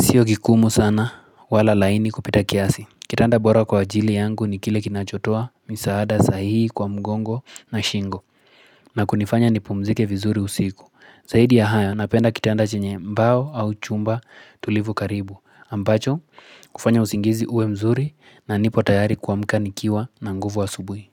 Sio kigumu sana wala laini kupita kiasi. Kitanda bora kwa ajili yangu ni kile kinachotoa, misaada, sahihi, kwa mgongo na shingo. Na kunifanya ni pumzike vizuri usiku. Zahidi ya hayo, napenda kitanda chenye mbao au chumba tulivu karibu. Ambacho, hufanya usingizi uwe mzuri na nipo tayari kuamka ni kiwa na nguvu asubui.